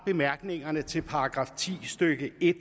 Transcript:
bemærkningerne til § ti stykke en